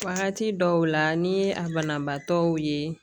Wagati dɔw la ni ye a banabaatɔw ye